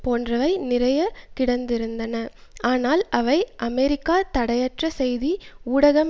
போன்றவை நிறைய கிடைத்திருந்தன ஆனால் அவை அமெரிக்கா தடையற்ற செய்தி ஊடகம்